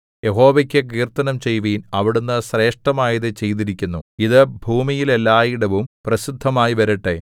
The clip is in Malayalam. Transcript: യഹോവയ്ക്ക് കീർത്തനം ചെയ്യുവിൻ അവിടുന്ന് ശ്രേഷ്ഠമായതു ചെയ്തിരിക്കുന്നു ഇതു ഭൂമിയിൽ എല്ലായിടവും പ്രസിദ്ധമായിവരട്ടെ